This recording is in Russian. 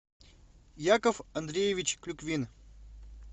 яков андреевич клюквин